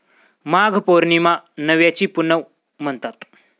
माघ पौर्णिमा 'नव्याची पुनव' म्हणतात.